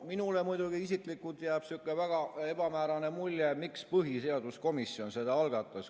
Minule muidugi isiklikult jääb sihuke väga ebamäärane mulje, miks põhiseaduskomisjon selle algatas.